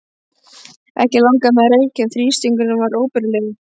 Ekki langaði mig að reykja en þrýstingurinn var óbærilegur.